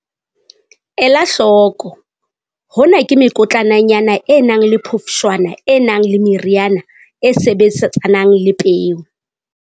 Ela hloko- hona ke mekotlananyana e nang le phofshwana e nang le meriana e sebetsanang le peo.